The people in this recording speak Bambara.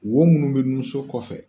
Wo minnu bɛ nunso kɔfɛ